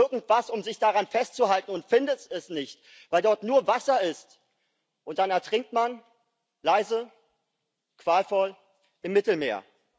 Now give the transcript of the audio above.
Und man sucht irgendwas, um sich daran festzuhalten und findet es nicht, weil dort nur Wasser ist. Und dann ertrinkt man leise, qualvoll im Mittelmeer.